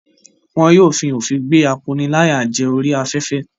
Wọn yóò fi òfin gbé akóniláyàjẹ orí afẹ́fẹ́.